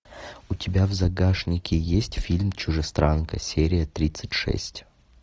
у тебя в загашнике есть фильм чужестранка серия тридцать шесть